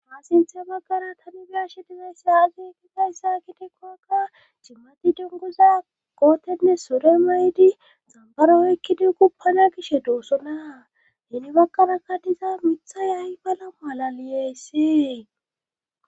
Faassinthe baggara tamibiyashe difeysse aagi ekigayssa kitekoaka cimmati dunguza gootenne sore maydi xambaro ekki dingu pana gishe doossona heni bagkaraka diza mithay ay bala malaliyayssee